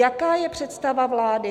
Jaká je představa vlády?